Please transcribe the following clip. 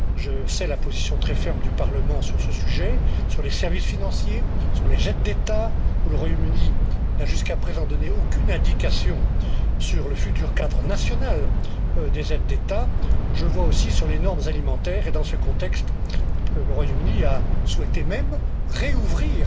Je sais la position très ferme du Parlement sur ce sujet, sur les services financiers, sur les aides d'État, où le Royaume Uni n'a jusqu'à présent donné aucune indication sur le futur cadre national des aides d'État, je le vois aussi sur les normes alimentaires et, dans ce contexte, le Royaume Uni a souhaité même rouvrir